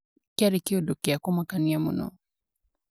Kĩarĩ kĩũndu kĩa kumakania mũno